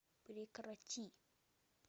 прекрати